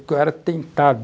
Porque eu era tentado.